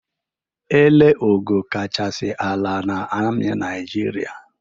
Ele ogo kachasị ala na amị Nịajịrịa?